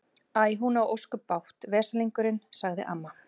Æ, hún á ósköp bágt, veslingurinn sagði amma.